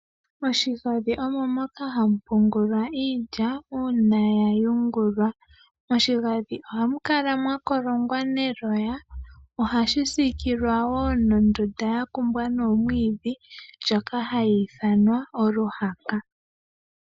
Moshigandhi omo moka hamu pungulwa iilya uuna ya yungulwa. Moshigandhi ohamu kala mwa kolongwa neloya . Ohashi siikilwa woo nondunda ya kumbwa nomwiidhi ndjoka hayi ithanwa oluhaka.